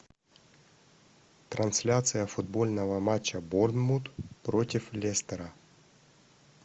трансляция футбольного матча борнмут против лестера